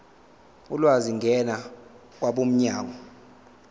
ulwazi ngena kwabomnyango